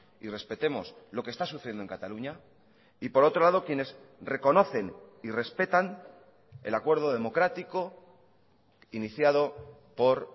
y respetemos lo que está sucediendo en cataluña y por otro lado quienes reconocen y respetan el acuerdo democrático iniciado por